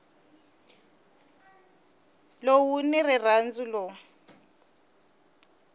loko wu ri nandzu lowu